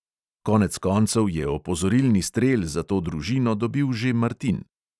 Konec koncev je opozorilni strel za to družino dobil že martin.